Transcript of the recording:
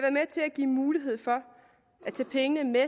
give mulighed for at tage pengene med